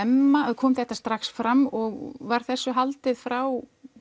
kom þetta strax fram og var þessu haldið frá